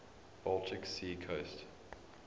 baltic sea coast